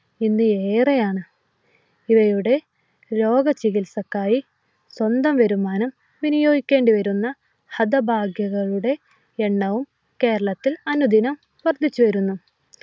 ഇന്നേറെയാണ് ഇവരുടെ രോഗചികിത്സയ്ക്കായി സ്വന്തം വരുമാനം വിനിയോഗിക്കേണ്ടി വരുന്ന ഹതഭാഗ്യകളുടെ എണ്ണവും കേരളത്തിൽ അനുദിനം വർദ്ധിച്ചു വരുന്നു